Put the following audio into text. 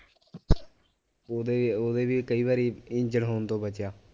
ਉਹਦੇ ਉਹਦੇ ਵੀ ਕਈ ਵਾਰੀ ਇੰਜਣ ਹੋਣ ਤੋਂ ਬਚਿਆ